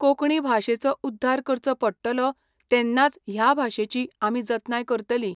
कोंकणी भाशेचो उध्दार करचो पडटलो तेन्नाच ह्या भाशेची आमी जतनाय करतली